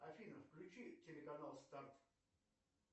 афина включи телеканал старт